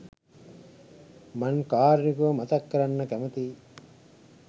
මං කාරුණිකව මතක් කරන්න කැමතියි.